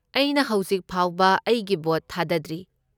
ꯑꯩꯅ ꯍꯧꯖꯤꯛ ꯐꯥꯎꯕ ꯑꯩꯒꯤ ꯚꯣꯠ ꯊꯥꯗꯗ꯭ꯔꯤ꯫